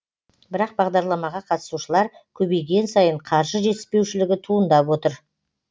бірақ бағдарламаға қатысушылар көбейген сайын қаржы жетіспеушілігі туындап отыр